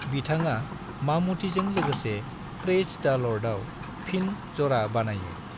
बिथाङा ममूटीजों लोगोसे प्रेइज द' लर्डआव फिन ज'रा बानायो।